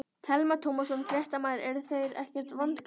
Telma Tómasson, fréttamaður: Eru þeir ekkert vankaðir?